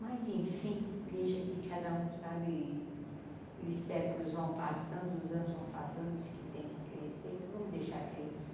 Mas enfim, deixa que cada um sabe, e os séculos vão passando, os anos vão passando, os que tem que crescer, vamos deixar crescer.